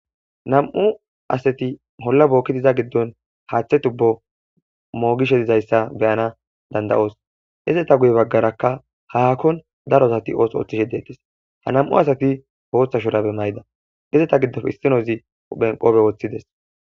Nam7u asati holla bookkidi iza giddon haaththe tubbo moogishe dizayssa beyanas danda7os izetaguyerakka haakon daro asati ootho oothishe deettees ha nam7u asati bootha shuraabe mayida nam7atika qoobe wothida.